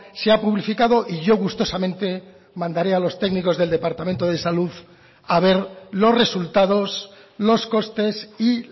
se ha publificado y yo gustosamente mandaré a los técnicos del departamento de salud a ver los resultados los costes y